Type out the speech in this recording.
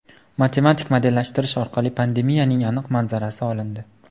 Matematik modellashtirish orqali pandemiyaning aniq manzarasi olindi .